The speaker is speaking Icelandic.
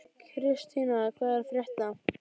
Kristína, hvað er að frétta?